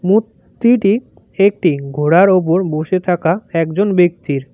মূর্তিটি একটি ঘোড়ার ওপর বসে থাকা একজন ব্যক্তির।